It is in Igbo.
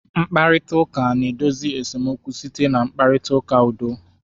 Mkparịta ụka na-edozi esemokwu site na mkparịta ụka udo